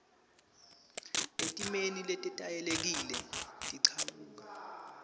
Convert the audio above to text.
etimeni letetayelekile tekuchumana